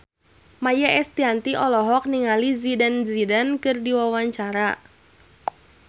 Maia Estianty olohok ningali Zidane Zidane keur diwawancara